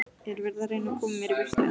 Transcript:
Er verið að reyna að koma mér í burtu?